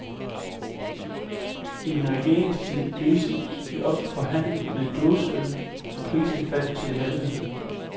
I min regeringstid løsnede vi op for handelen med dåseøl, og prisen faldt til det halve.